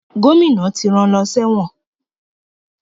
Gómìnà ti rán an lọ sẹ́wọ̀n